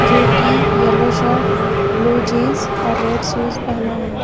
जो की yellow shirt blue jeans और रेड शूज पहना है।